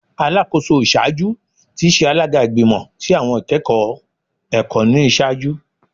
Alakoso iṣaaju ti ṣe alaga Igbimọ ti Awọn Ikẹkọ Ẹkọ ni iṣaaju